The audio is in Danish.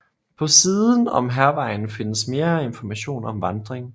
På siden om Hærvejen findes mere information om vandring